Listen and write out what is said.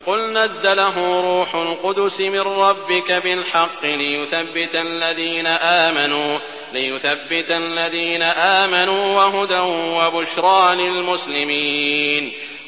قُلْ نَزَّلَهُ رُوحُ الْقُدُسِ مِن رَّبِّكَ بِالْحَقِّ لِيُثَبِّتَ الَّذِينَ آمَنُوا وَهُدًى وَبُشْرَىٰ لِلْمُسْلِمِينَ